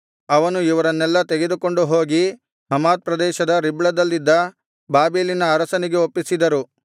ಅವನು ಇವರನ್ನೆಲ್ಲಾ ತೆಗೆದುಕೊಂಡುಹೋಗಿ ಹಮಾತ್ ಪ್ರದೇಶದ ರಿಬ್ಲದಲ್ಲಿದ್ದ ಬಾಬೆಲಿನ ಅರಸನಿಗೆ ಒಪ್ಪಿಸಿದರು